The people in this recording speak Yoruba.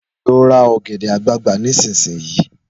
Lọ ra ọ̀gẹ̀dẹ̀ àgbagbà nísinsìnyí!